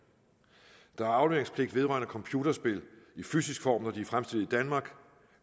der er afleveringspligt vedrørende computerspil i fysisk form når de er fremstillet i danmark